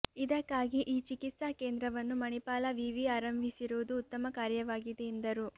ಇದಕ್ಕಾಗಿ ಈ ಚಿಕಿತ್ಸಾ ಕೇಂದ್ರವನ್ನು ಮಣಿಪಾಲ ವಿವಿ ಆರಂಭಿಸಿರುವುದು ಉತ್ತಮ ಕಾರ್ಯವಾಗಿದೆ ಎಂದರು